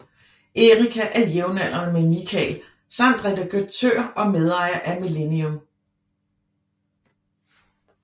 Erika er jævnaldrende med Mikael samt redaktør og medejer af Millennium